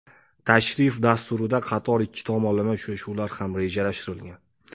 Tashrif dasturida qator ikki tomonlama uchrashuvlar ham rejalashtirilgan.